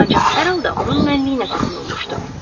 Ancaq hər halda onun mənliyinə toxunulmuşdu.